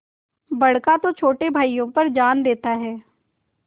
बड़का तो छोटे भाइयों पर जान देता हैं